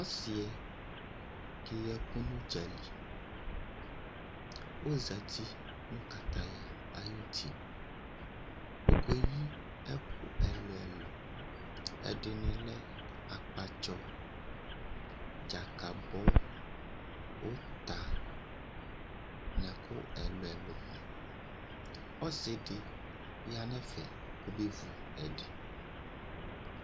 Ɔsi'ɛ ke ye ku n'udzali ozati nu ataya ayu ti Okueyi ɛku ɛlu ɛlu Ɛdini lɛ akpatsɔ, dzakabɔ, uta n'ɛku ɛlu ɛlu ni Ɔsi di ya nu ɛfɛ, kɔ bevu ɛdi